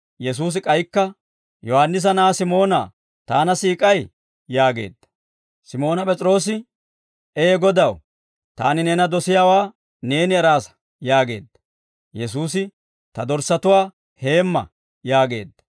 Yesuusi k'aykka, «Yohaannisa na'aa Simoonaa, Taana siik'ay?» yaageedda. Simooni P'es'iroose, «Ee Godaw, taani neena dosiyaawaa neeni eraasa» yaageedda. Yesuusi, «Ta dorssatuwaa heemma» yaageedda.